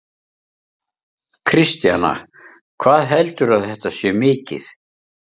Kristjana: Hvað heldurðu að þetta sé mikið?